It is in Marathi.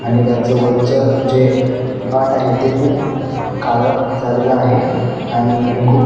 आणि त्याच वरच जे काट आहे ते खुप काळ झालेल आहे आणि हे खुप--